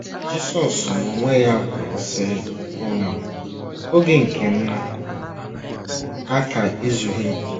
Jisọs n’onwe ya kwuru, sị: um “ Oge nke m aka - ezughị. ”